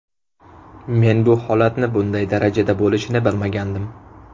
Men bu holatni bunday darajada bo‘lishini bilmagandim.